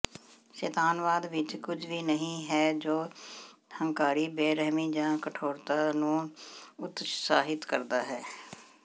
ਸ਼ੈਤਾਨਵਾਦ ਵਿਚ ਕੁਝ ਵੀ ਨਹੀਂ ਹੈ ਜੋ ਹੰਕਾਰੀ ਬੇਰਹਿਮੀ ਜਾਂ ਕਠੋਰਤਾ ਨੂੰ ਉਤਸ਼ਾਹਿਤ ਕਰਦਾ ਹੈ